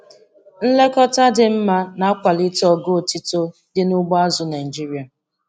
Nlekọta dị mma na-akwalite ogo otito dị n'ugbo azụ̀ Naịjiria.